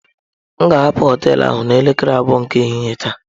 M ga-ahapụ hoteelu ahụ n'elekere abụọ nke ehihie taa.